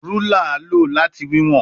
Rúlà a lo lati wiwọn